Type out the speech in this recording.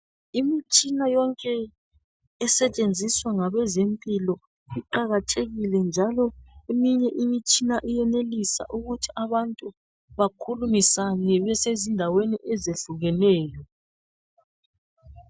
Imitshina yonke esetshenziswa ngabezempilo iqakathekile njalo eminye imitshina iyenelisa ukuthi abantu bakhulumisane besezindaweni ezehlukeneyo